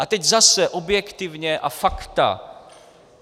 A teď zase objektivně a fakta.